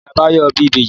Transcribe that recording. Ìyá Báyọ̀ bí ìbejì.